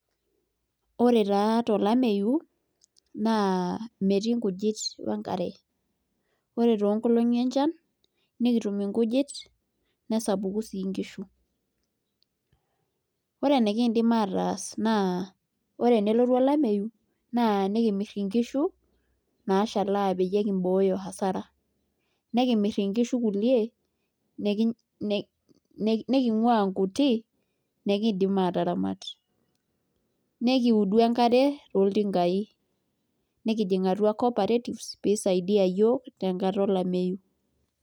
Ore taa tolameyu naa metii nkujit onkare ore toonkolongi enchan nekitu nkujit nesapuku sii nkishu ore enikiidim ataas naa ore enelotu olameyu nekimirr nkishu naashalaa peyie kimbooyo hasara nekimirr nkishu kulie nekingua nkuti nekiindim aataramat nekiudu enkare toltingaai nekijing' atua cooperatives pee isaidia iyiook tenkata olameyu.